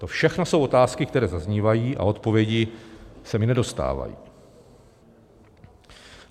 To všechno jsou otázky, které zaznívají a odpovědi se mi nedostávají.